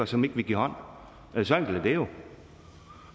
som ikke vil give hånd hånd så enkelt er det jo